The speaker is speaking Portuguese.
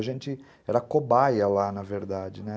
A gente era cobaia lá, na verdade, né?